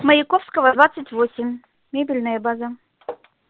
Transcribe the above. маяковского двадцать восемь мебельная база